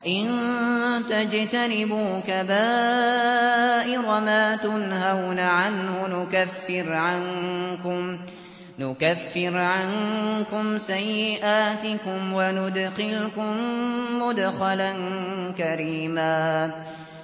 إِن تَجْتَنِبُوا كَبَائِرَ مَا تُنْهَوْنَ عَنْهُ نُكَفِّرْ عَنكُمْ سَيِّئَاتِكُمْ وَنُدْخِلْكُم مُّدْخَلًا كَرِيمًا